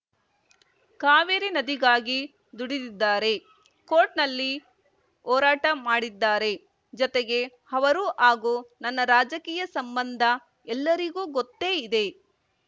ಕಾವೇರಿ ನದಿಗಾಗಿ ದುಡಿದಿದ್ದಾರೆ ಕೋರ್ಟ್‌ನಲ್ಲಿ ಹೋರಾಟ ಮಾಡಿದ್ದಾರೆ ಜತೆಗೆ ಅವರು ಹಾಗೂ ನನ್ನ ರಾಜಕೀಯ ಸಂಬಂಧ ಎಲ್ಲರಿಗೂ ಗೊತ್ತೇ ಇದೆ